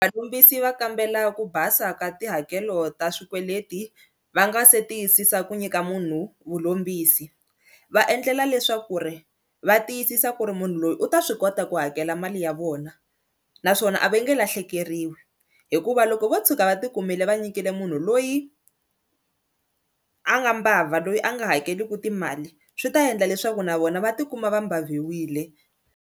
Valombisi va kambela ku basa ka tihakelo ta swikweleti va nga se tiyisisa ku nyika munhu vulombisi, va endlela leswaku ri va tiyisisa ku ri munhu loyi u ta swi kota ku hakela mali ya vona naswona a va nge lahlekeriwi hikuva loko vo tshuka va ti kumile va nyikile munhu loyi a nga mbabva loyi a nga hakeliku timali swi ta endla leswaku na vona va tikuma va mbabviwile.